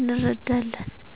እንርዳለን።